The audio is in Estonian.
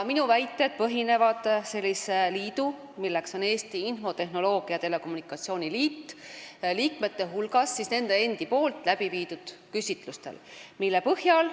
Minu väited põhinevad sellise liidu nagu Eesti Infotehnoloogia ja Telekommunikatsiooni Liit liikmete hulgas nende endi tehtud küsitlustel.